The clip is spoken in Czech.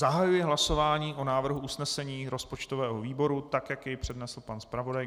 Zahajuji hlasování o návrhu usnesení rozpočtového výboru tak, jak jej přednesl pan zpravodaj.